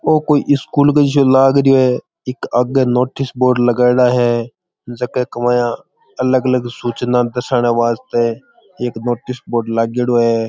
ओ को स्कूल जैसा लग रहो है एक आगे नोटिस बोर्ड लगाएड़ा है जके के माया अलग अलग सुचना दर्शान खातर एक नोटिस बोर्ड लागेडो है।